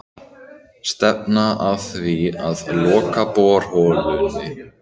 Stefna að því að loka borholunni